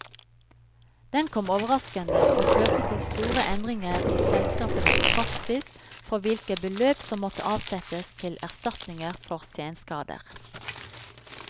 Den kom overraskende, og førte til store endringer i selskapenes praksis for hvilke beløp som måtte avsettes til erstatninger for senskader.